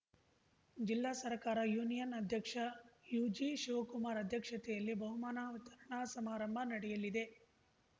ಜಿಲ್ಲಾ ಸರಕಾರ ಯೂನಿಯನ್‌ ಅಧ್ಯಕ್ಷ ಯುಜಿಶಿವಕುಮಾರ ಅಧ್ಯಕ್ಷತೆಯಲ್ಲಿ ಬಹುಮಾನ ವಿತರಣಾ ಸಮಾರಂಭ ನಡೆಯಲಿದೆ